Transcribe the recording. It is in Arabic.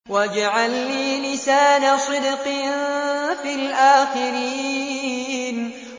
وَاجْعَل لِّي لِسَانَ صِدْقٍ فِي الْآخِرِينَ